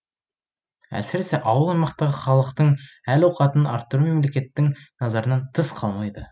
әсіресе ауыл аймақтағы халықтың әл ауқатын арттыру мемлекеттің назарынан тыс қалмайды